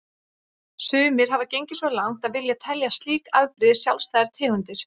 Sumir hafa gengið svo langt að vilja telja slík afbrigði sjálfstæðar tegundir.